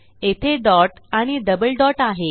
येथे डॉट आणि double dot आहे